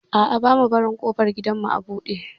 A'a, bamu barin ƙofar gidanmu a buɗe.